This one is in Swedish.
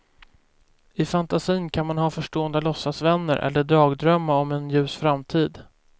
I fantasin kan man ha förstående låtsasvänner eller dagdrömma om en ljus framtid.